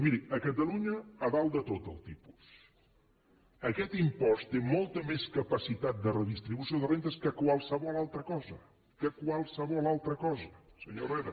miri a catalunya a dalt de tot el tipus aquest impost té molta més capacitat de redistribució de rendes que qualsevol altra cosa que qualsevol altra cosa senyor herrera